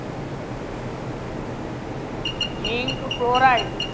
Zinc chloride